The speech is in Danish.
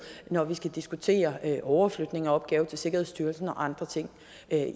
når vi skal diskutere overflytningen af opgaven til sikkerhedsstyrelsen og andre ting